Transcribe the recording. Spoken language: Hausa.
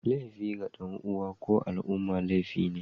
Laifi ga dan uwansa ko al'umma laifi ne